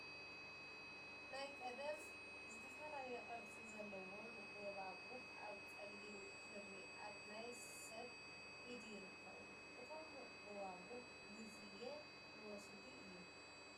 ናይ ቀደም ዝተፈላለዩ ቅርፂ ዘሎዎም ጎባጉብ ኣብ ፀሊም ክሪ ኣብ ናይ ስብ ኢድ ይርከቡ ። እቶም ጎባጉብ ግዝየ ዝወሰዱ እዮም ።